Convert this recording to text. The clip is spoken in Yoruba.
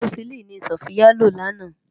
Ámósilini ni Sofia ló làná